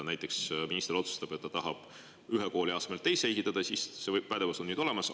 Näiteks, kui minister otsustab, et ta tahab ühe kooli asemele teise ehitada, siis see pädevus on tal nüüd olemas.